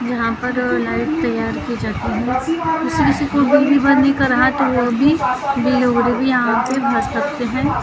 यहाँ पर लाइट तैयार की जाती है इसमे से कोइ बिजली भरने का रहा तो वो वो भी बिल यहा पर भर सकते है।